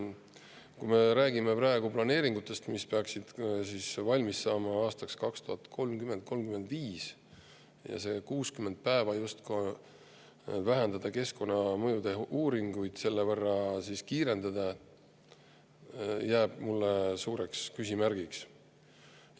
Kui me räägime planeeringutest, mis peaksid valmis saama aastateks 2030–2035 ja neist 60 päevast, mis justkui vähendavad keskkonnamõjude uuringute, ehk siis kiirendavad selle võrra, siis see jääb mulle suureks küsimärgiks.